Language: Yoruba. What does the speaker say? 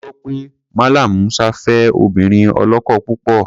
A gbọ́ pé Mallam Musa fẹ́ obìnrin ọlọ́kọ púpọ̀.